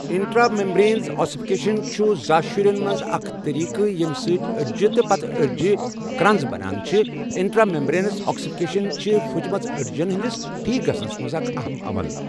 intra membranous ossification چھُ زاشُرؠ مَنٛز اَکھ طٔریٖقہٕ یَمہٕ سٟتؠ أڈؠ جہِ تہٕ پَتہٕ أڈجہٕ کَرٛنٛز بَنان چھُ اِنٹرا میمبرینَس آسِفِکیشَن چھِ فٕچمَز أڈؠجَن ہٕندِس ٹھیٖکھ گَژھنَس مَنٛز اَکھ اَہَم عَمَل